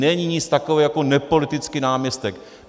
Není nic takového jako nepolitický náměstek.